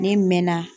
Ne mɛnna